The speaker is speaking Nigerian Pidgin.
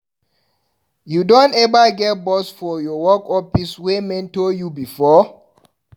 You don eva get boss for your office wey mentor you before?